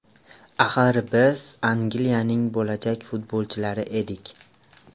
Axir biz Angliyaning bo‘lajak futbolchilari edik.